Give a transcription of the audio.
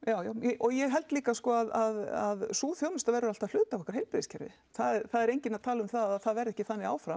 og ég held líka að sú þjónusta verði alltaf hluti af okkar heilbrigðiskerfi það er enginn að tala um það að það verði ekki þannig áfram